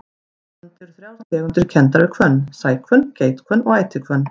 Hér á landi eru þrjár tegundir kenndar við hvönn, sæhvönn, geithvönn og ætihvönn.